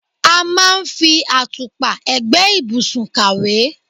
A máa ń fi àtùpà ẹ̀gbẹ́ ìbùsùn kàwé.